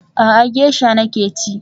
A'a, gesha nake ci